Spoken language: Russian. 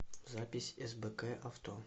запись сбк авто